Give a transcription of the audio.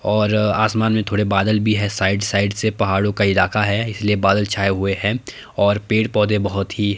और आसमान में थोड़े बादल भी है साइड साइड से पहाड़ों का इलाका है इसलिए बादल छाए हुए हैं और पेड़ पौधे बहोत ही--